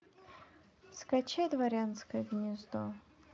скачай дворянское гнездо